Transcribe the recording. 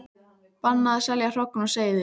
Bannað að selja hrogn og seiði